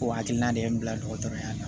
O hakilina de ye n bila dɔgɔtɔrɔya la